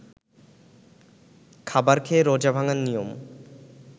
খাবার খেয়ে রোজা ভাঙ্গার নিয়ম